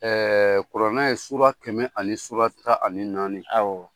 kurannɛ ye suran kɛmɛ ani suran tan ani naani